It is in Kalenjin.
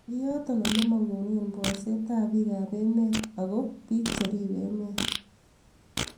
yoto ole mangunee borsetab biikap emet ago biik cheribe emet